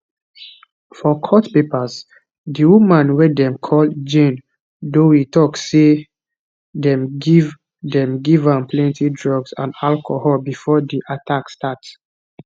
for court papers di woman wey dem call jane doe tok say dem give dem give am plenti drugs and alcohol bifor di attack start